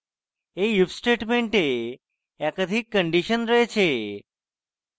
এই if statement একাধিক condition রয়েছে